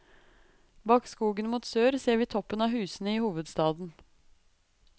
Bak skogen mot sør ser vi toppen av husene i hovedstaden.